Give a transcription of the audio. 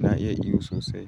Na iya iyo sosai.